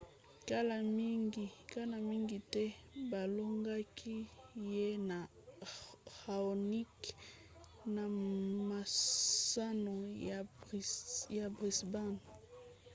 kala mingi te balongaki ye na raonic na masano ya brisbane